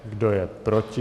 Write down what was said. Kdo je proti?